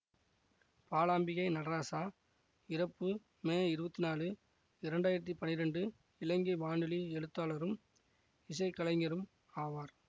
பாலாம்பிகை நடராசா இறப்பு மே இருபத்தி நாழு இரண்டு ஆயிரத்தி பன்னிரெண்டு இலங்கை வானொலி எழுத்தாளரும் இசைக்கலைஞரும் ஆவார்